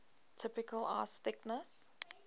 typical ice thickness